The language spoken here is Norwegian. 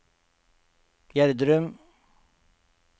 Gjerdrum